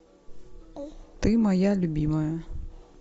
ты моя любимая